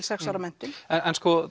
sex ára menntun en